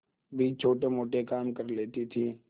भी छोटेमोटे काम कर लेती थी